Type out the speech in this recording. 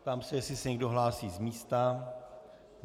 Ptám se, jestli se někdo hlásí z místa.